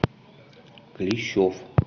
клещов